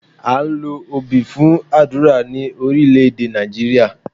À ń lo obì fún àdúrà ní Orílẹ́èdè Nàìjíríà